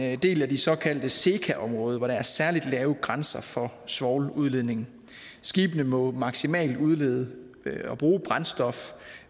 en del af det såkaldte seca område hvor der er særlig lave grænser for svovludledning skibene må maksimalt udlede og bruge brændstof